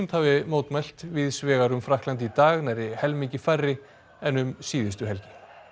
hafi mótmælt víðs vegar um Frakkland í dag nærri helmingi færri en um síðustu helgi